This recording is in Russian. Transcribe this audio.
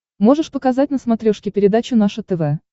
можешь показать на смотрешке передачу наше тв